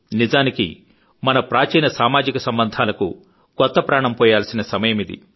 నిజానికి మన ప్రాచీన సామాజిక సంబంధాలకు కొత్త ఊపిరులూ దాల్చిన సమయమిది